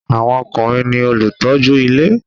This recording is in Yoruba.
Àwọn ọkùnrin ní olùtọ́jú ilé